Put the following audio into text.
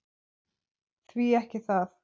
Því ekki það.